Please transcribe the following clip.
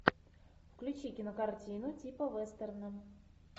включи кинокартину типа вестерна